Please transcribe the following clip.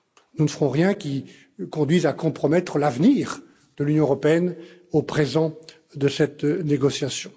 Nous ne ferons rien qui conduise à compromettre l'avenir de l'Union européenne pour le présent de cette négociation.